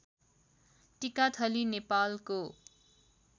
टिकाथली नेपालको